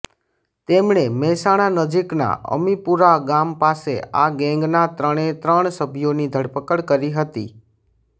તેમણે મહેસાણા નજીકના અમીપુરા ગામ પાસે આ ગેંગના ત્રણે ત્રણ સભ્યોની ધરપકડ કરી હતી